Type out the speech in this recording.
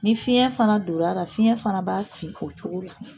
Ni fiɲɛ fana donr'a la fiɲɛ fana b'a fin o cogo la